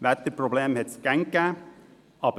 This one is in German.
Wetterprobleme hat es immer schon gegeben.